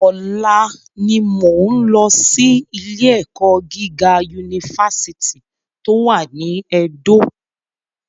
Ọ̀la ni mo ń lọ sí ilé ẹ̀kọ́ gíga Unifásítì tó wà ní Ẹdó